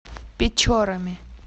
печорами